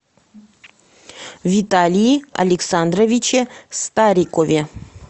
виталии александровиче старикове